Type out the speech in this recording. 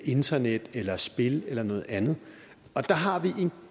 internet eller spil eller noget andet og der har vi en